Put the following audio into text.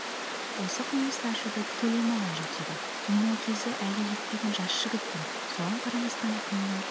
осы қылмысты ашуды тікелей маған жүктеді мен ол кезде әлі жетпеген жас жігітпін соған қарамастан күннің